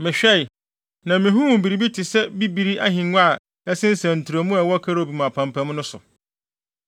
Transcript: Mehwɛe, na mihuu biribi te sɛ bibiri ahengua a ɛsensɛn ntrɛwmu a ɛwɔ kerubim apampam no so.